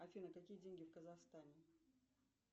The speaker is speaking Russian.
афина какие деньги в казахстане